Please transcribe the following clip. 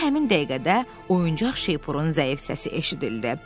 Elə həmin dəqiqədə oyuncaq şeypurun zəif səsi eşidildi.